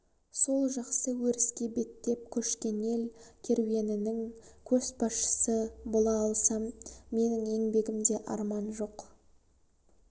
сол жақсы өріске беттеп көшкен ел керуенінің көшбасшысы бола алсам менің еңбегімде арман жоқ